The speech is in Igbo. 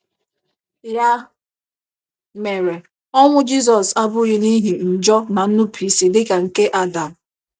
Ya mere, ọnwụ Jizọs abụghị n'ihi njọ na nnupụisi dị ka nke Adam